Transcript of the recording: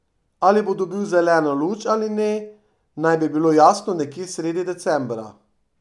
Ali bo dobila zeleno luč ali ne, naj bi bilo jasno nekje sredi decembra.